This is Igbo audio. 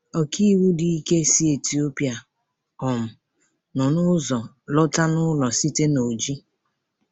Ọkàiwu dị ike si Etiopia um nọ n’ụzọ lọta n’ụlọ site na Oji.